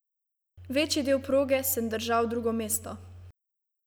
Večji del proge sem držal drugo mesto.